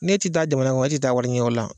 N'e ti taa jamana kɔnɔ e tɛ taa wariɲiniyɔrɔ la